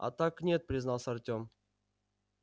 а так нет признался артём